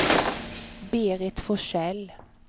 Berit Forsell